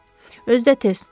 Özü də tez.